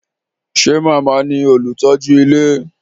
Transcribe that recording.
Ṣé màmá ní olùtọ́jú ilé?